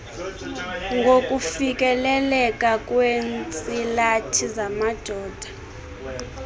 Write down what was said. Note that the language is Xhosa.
ngokufikeleleka kweentsilathi zamadoda